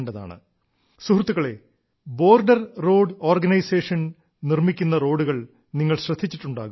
സുഹൃത്തുക്കളേ റോഡുകളിൽ വർദ്ധിക്കുന്ന ബോർഡർ റോഡ് ഓർഗനൈസേഷൻ നിർമ്മിക്കുന്ന റോഡുകൾ നിങ്ങൾ ശ്രദ്ധിച്ചിട്ടുണ്ടാകും